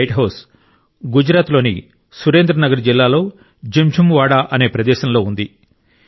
ఈ lighthouse Gujarat లోని Surendranagar జిల్లాలో జింఝు వాడా అనే ప్రదేశంలో ఉంది